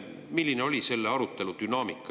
Milline oli selle arutelu dünaamika?